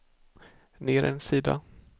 ner en sida